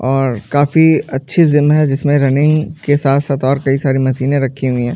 और काफी अच्छी जिम है जिसमे रनिंग के साथ साथ और कई सारी मशीनें रखी हुई हैं।